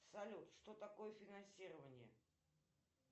салют что такое финансирование